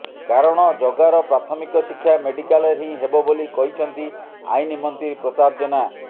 କାରଣ ଜଗାର ପ୍ରାଥମିକ ଶିକ୍ଷା ମେଡ଼ିକାଲରେ ହିଁ ହେବ ବୋଲି କହିଛନ୍ତି ଆଇନ୍ ମନ୍ତ୍ରୀ ପ୍ରତାପ ଜେନା